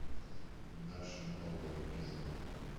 наше новое кино